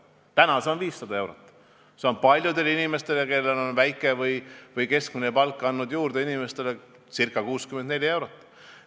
Täna on see miinimum 500 eurot ja see on paljudele inimestele, kellel on väike või keskmine palk, andnud juurde ca 64 eurot.